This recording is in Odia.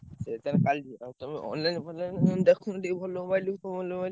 ସେ ବର୍ତ୍ତମାନ ତମେ online ଫନଲାଇନ କଣ ଦେଖୁନ ଟିକେ ଭଲ mobile mobile ।